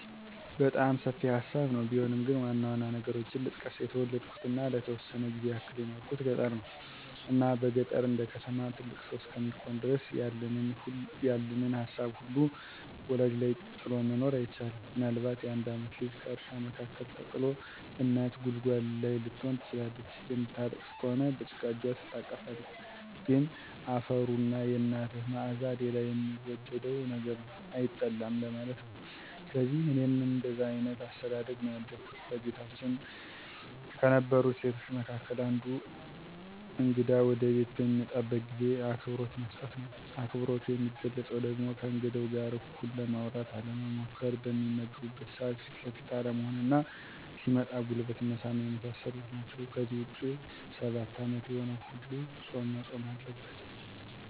በጣም ሰፊ ሀሳብ ነው ቢሆንም ግን ዋናዋና ነገሮችን ልጥቀስ። የተወለድኩትና ለተወሰነ ጊዜ ያክል የኖርኩት ገጠር ነው። እና በገጠር እንደከተማ ትልቅ ሰው እስከሚኮን ድረስ ያለንን ሀሳብ ሁሉ ወላጅ ላይ ጥሎ መኖር አይቻልም። ምናልባት የአንድ ዓመት ልጅ ከእርሻ መካከል ተጥሎ እናት ጉልጓሎ ላይ ልትሆን ትችላለች። የምታለቅስ ከሆነ በጭቃ እጅ ትታቀፋለህ። ግን አፈሩና የናትህ ማዕዛ ሌላ የሚወደድ ነገር ነው፤ አይጠላም ለማለት ነው። ስለዚህ እኔም እንደዛ አይነት አስተዳደግ ነው ያደግኩት። በቤታችን ከነበሩ እሴቶች መካከል አንዱ እግዳ ወደቤት በሚመጣበት ጊዜ አክብሮት መስጠት ነው። አክብሮቱ የሚገለፀው ደግሞ ከእንግዳው ጋር እኩል ለማውራት አለመሞኰኰር፣ በሚመገብበት ሰዓት ፊት ለፊት አለመሆንና ሲመጣም ጉልበት መሳም የመሳሰሉት ናቸው። ከዚህ ውጭ ሰባት ዓመት የሆነው ሁሉ ፆም መፆም አለበት።